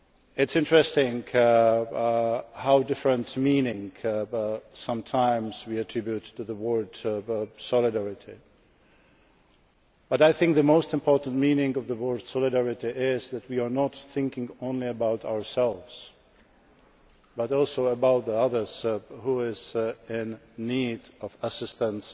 It is interesting how many different meanings we sometimes attribute to the word solidarity, but I think the most important meaning of the word solidarity is that we are not thinking only about ourselves but also about others who are in need of assistance